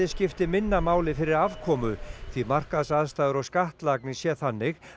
skipti minna máli fyrir afkomu því markaðsaðstæður og skattlagning sé þannig